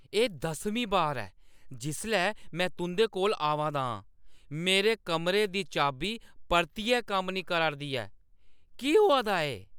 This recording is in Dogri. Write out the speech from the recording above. एह् दसमीं बार ऐ जिसलै मैं तुंʼदे कोल आवा ना आं। मेरे कमरे दी चाबी परतियै कम्म नेईं करा 'रदी ऐ। केह् होआ दा ऐ?